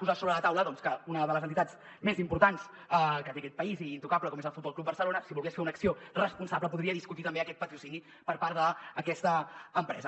posar sobre la taula que una de les entitats més importants que té aquest país i intocable com és el futbol club barcelona si volgués fer una acció responsable podria discutir també aquest patrocini per part d’aquesta empresa